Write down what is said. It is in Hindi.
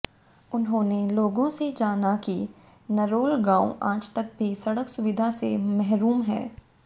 उन्होंने लोगों से जाना कि नरोल गांव आज तक भी सड़क सुविधा से महरूम है